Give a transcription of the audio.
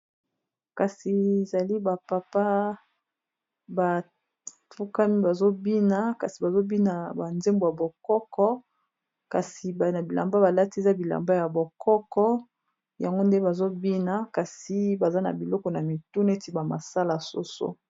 Kasi ezali ba papa bafukami bazo bina kasi bazo bina ba nzembo ya bokoko kasi na bilamba balati ya bilamba ya bokoko yango nde bazo bina kasi baza na biloko na mitu neti ba masala soso.